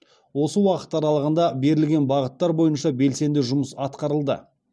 осы уақыт аралығында берілген бағыттар бойынша белсенді жұмыс атқарылды